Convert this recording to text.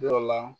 Dɔ la